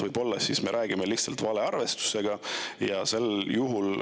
Võib-olla me räägime lihtsalt valearvestusest.